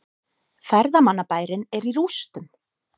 Ferðamannabærinn er í rústum